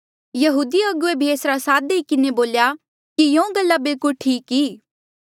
यहूदी अगुवे भी एसरा साथ देई किन्हें बोल्या कि यूँ गल्ला बिल्कुल ठीक ई